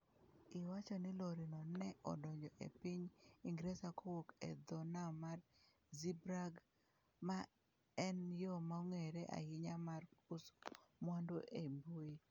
Iwacho ni lorino ne odonjo e piny Ingresa kowuok e dho nam mar Zeebrugge, ma en yo mong'ere ahinya mar uso mwandu e mbui.